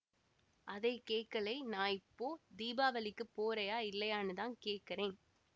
அதை கேக்கலை நான் இப்போ தீபாவளிக்கு போறயா இல்லையான்னுதான் கேக்கறேன்